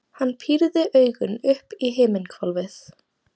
Hann pírði augun upp í himinhvolfið.